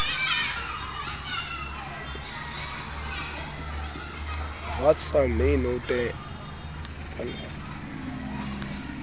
wat sal my nou te